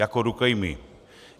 Jako rukojmí!